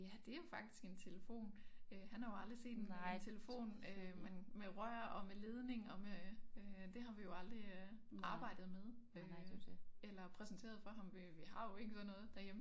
Ja det jo faktisk en telefon øh han har jo aldrig set en telefon øh men med rør og med ledning og med øh det har vi jo aldrig øh arbejdet med øh eller præsenteret for ham vi vi har jo ikke sådan noget derhjemme